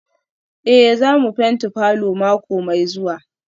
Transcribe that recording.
Eh za mu fenti falor mako mai zuwa